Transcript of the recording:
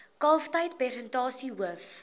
kalftyd persentasie hoof